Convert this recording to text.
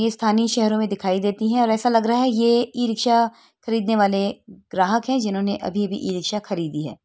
ये स्थानीय शहरों में दिखाई देती हैं और ऐसा लग रहा है ये ई रिक्शा खरीदने वाले ग्राहक है जिन्होंने अभी-अभी ई रिक्शा खरीदी है।